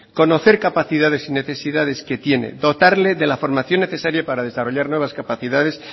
conocer capacidades y necesidades que tiene dotarle de la formación necesaria para desarrollar nuevas capacidades